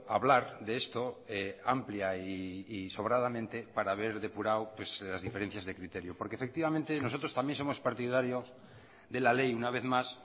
hablar de esto amplia y sobradamente para haber depurado las diferencias de criterio porque efectivamente nosotros también somos partidarios de la ley una vez más